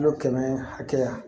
Kilo kɛmɛ hakɛya